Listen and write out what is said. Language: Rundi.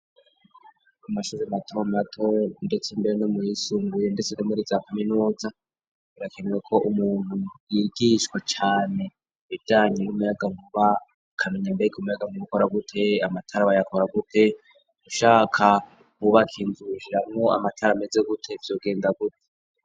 Amashure mato mato ndetse mbere no mu yisumbuye ndetse no muri za Kaminuza, birakenewe ko umuntu yigishwa cane ibijanye n'muyaga nkuba, akamenya mbega umuyaga ukora gute, amatara bayakora gute, ushaka wubake inzu irimwo amatara ameze gute, vyogenda gute.